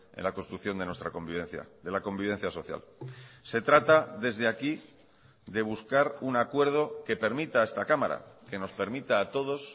en la construcción de nuestra convivencia de la convivencia social se trata desde aquí de buscar un acuerdo que permita a esta cámara que nos permita a todos